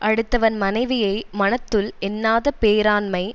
அடுத்தவன் மனைவியை மனத்துள் எண்ணாத பேராண்மை